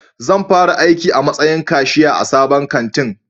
Zan fara aiki a matsayin kashiya a sabon kantin